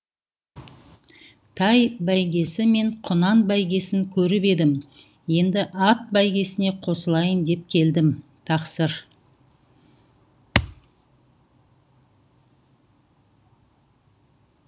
тай бәйгесі мен құнан бәйгесін көріп едім енді ат бәйгесіне қосылайын деп келдім тақсыр